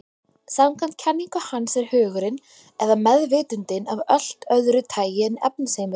Samkvæmt kenningu hans er hugurinn, eða meðvitundin, af allt öðru tagi en efnisheimurinn.